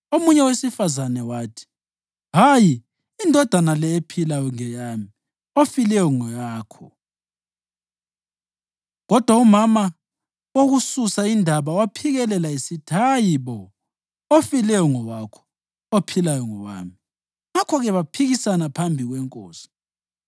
Omunye owesifazane wathi, “Hayi! Indodana le ephilayo ngeyami, efileyo ngeyakho.” Kodwa umama wokususa indaba waphikelela esithi, “Hayi bo! Ofileyo ngowakho, ophilayo ngowami.” Ngakho-ke baphikisana phambi kwenkosi.